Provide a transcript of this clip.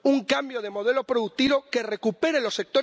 It's often better to make your key point first.